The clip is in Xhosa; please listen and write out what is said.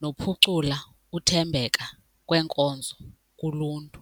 nokuphucula uthembeka kweenkonzo kuluntu.